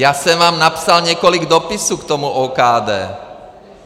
Já jsem vám napsal několik dopisů k tomu OKD.